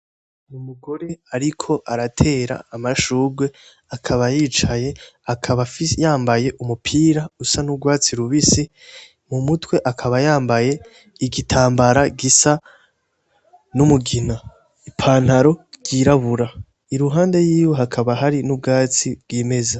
Umugore ariko aratera amashurwe akaba yicaye akaba yambaye umupira usa n'urwatsi rubisi mu mutwe akaba yambaye igitambara gisa n'umugina ipantaro ry'irabura i ruhande yiwe hakaba hari n'ubwatsi bw'imeza.